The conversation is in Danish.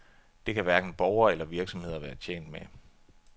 Det kan hverken borgere eller virksomheder være tjent med.